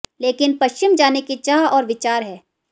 लेकिन पश्चिम जाने की चाह और विचार है